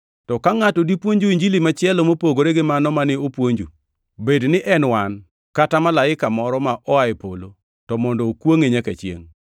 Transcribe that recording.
To ka ngʼato dipuonju Injili machielo mopogore gi mano mane wapuonjou, bed ni en wan, kata malaika moro moa e polo, to mondo okwongʼe nyaka chiengʼ.